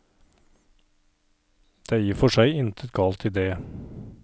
Det er i og for seg intet galt i det.